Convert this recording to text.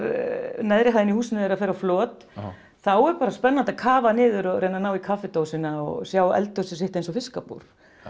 neðri hæðin í húsinu þeirra fer á flot þá er bara spennandi að kafa niður og reyna að ná í kaffidósina og sjá eldhúsið sitt eins og fiskabúr